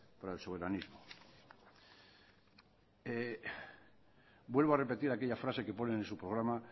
para el soberanismo vuelvo a repetir aquella frase que ponen en su programa